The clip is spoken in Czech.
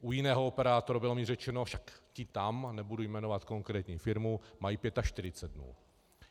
U jiného operátora, bylo mi řečeno, však ti tam, nebudu jmenovat konkrétní firmu, mají 45 dnů.